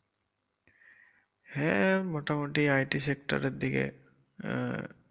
হ্যা মোটামুটি IT sector দিকে। আহ